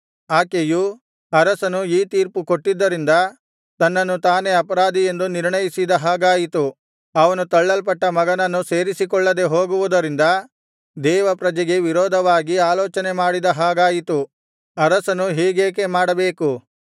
ಆಕೆಯು ಅರಸನು ಈ ತೀರ್ಪು ಕೊಟ್ಟಿದ್ದರಿಂದ ತನ್ನನ್ನು ತಾನೇ ಅಪರಾಧಿ ಎಂದು ನಿರ್ಣಯಿಸಿದ ಹಾಗಾಯಿತು ಅವನು ತಳ್ಳಲ್ಪಟ್ಟ ಮಗನನ್ನು ಸೇರಿಸಿಕೊಳ್ಳದೆ ಹೋಗುವುದರಿಂದ ದೇವಪ್ರಜೆಗೆ ವಿರೋಧವಾಗಿ ಆಲೋಚನೆ ಮಾಡಿದ ಹಾಗಾಯಿತು ಅರಸನು ಹೀಗೇಕೆ ಮಾಡಬೇಕು